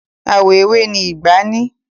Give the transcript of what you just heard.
Àwọ̀ ewé ni ìgbá ní.